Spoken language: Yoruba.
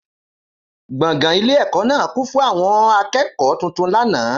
Gbọ̀ngàn ilé ẹ̀kọ́ náà kún fún àwọn akẹ́kọ̀ọ́ tuntun lánàá.